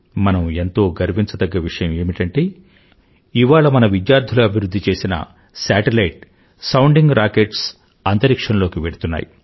మనం ఎంతో గర్వించదగ్గ విషయం ఏమిటంటే ఇవాళ మన విధ్యార్థులు అభివృధ్ధి చేసిన సేటిలైట్ సౌండింగ్ Rocketsఅంతరిక్ష్యం లోకి వెళ్తున్నాయి